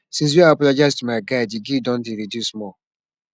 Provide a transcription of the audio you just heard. since wey i apologize to my guy di guilt don dey reduce small